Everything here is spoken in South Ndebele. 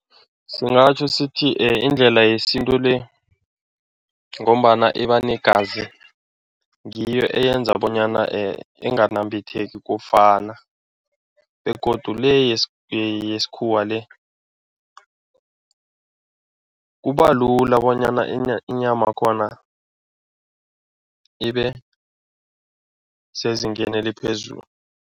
Singatjho sithi indlela yesintu le ngombana iba negazi, ngiyo eyenza bonyana inganambitheki kokufana begodu le yesikhuwa le, kubalula bonyana inyamakhona ibe sezingeni eliphezulu.